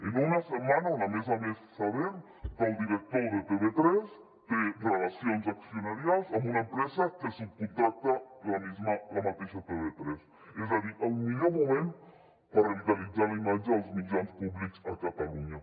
en una setmana on a més a més sabem que el director de tv3 té relacions accionarials amb una empresa que subcontracta la mateixa tv3 és a dir el millor moment per revitalitzar la imatge dels mitjans públics a catalunya